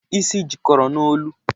Isi jikọrọ n'olu.